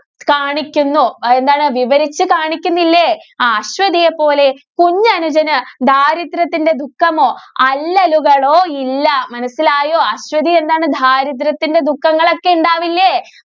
കാണിക്കുന്നു. എന്താണ് വിവരിച്ചു കാണിക്കുന്നില്ലേ? ആ അശ്വതിയെ പോലെ കുഞ്ഞനുജന് ദാരിദ്ര്യത്തിന്റെ ദുഃഖമോ, അല്ലലുകളോ ഇല്ല. മനസ്സിലായോ? അശ്വതി എന്താണ് ദാരിദ്ര്യത്തിന്റെ ദുഃഖങ്ങളൊക്കെ ഉണ്ടാവില്ലേ?